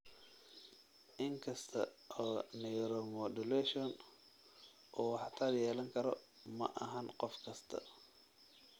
Inkasta oo neuromodulation uu waxtar yeelan karo, maahan qof kasta.